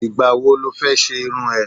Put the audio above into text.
Ìgbà wo lọ fẹ́ ṣe irun ẹ?